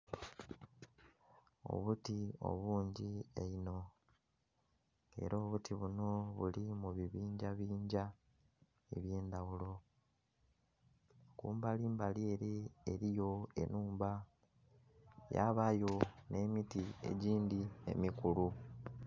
Obuti obungi einho ela obuti bunho buli mu bibingyabingya eby'endhaghulo. Kumbalimbali ele eliyo ennhumba yabayo nhe miti egindhi emikulu.